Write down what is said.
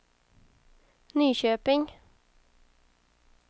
Nyköping